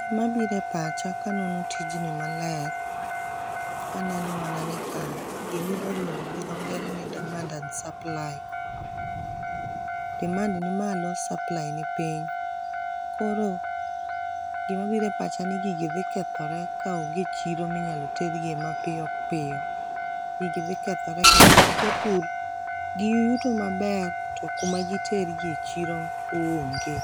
Gima bire pacha kanono tijni maler aneno mana ni ka gimiluong gi dho ngere ni demand and supply demand nimalo supply ni piny . Koro gima bire pacha ni gigi dhi kethore kaonge chiro minyalo tergi e mapiyo piyo gigi dhi kethore ka nikech japur giyuto maber to kama gitergie chiro onge